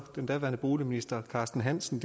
den daværende boligminister carsten hansen